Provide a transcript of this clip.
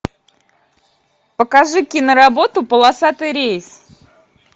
покажи киноработу полосатый рейс